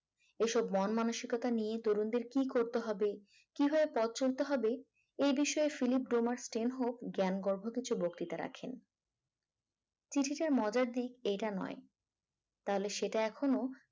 এইসব মন মানসিকতা নিয়ে তরুণদের কি করতে হবে কিভাবে পথ চলতে হবে এ বিষয়ে ফিলিপ ডোমারস ট্রেন হোপ জ্ঞান গর্ভ কিছু বক্তৃতা রাখেন চিঠি তার মজার দিক এইটা নয় তাহলে সেটা এখনো